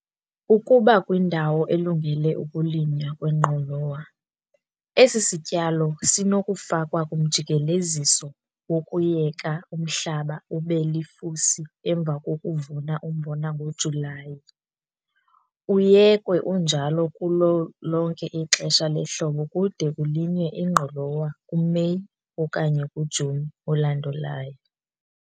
Ukuba ukwindawo elungele ukulinywa kwengqolowa, esi sityalo sinokufakwa kumjikeleziso wokuyeka umhlaba ube lifusi emva kokuvuna umbona ngoJulayi, uyekwe unjalo kulo lonke ixesha lehlobo kude kulinywe ingqolowa kuMeyi okanye kuJuni olandolayo.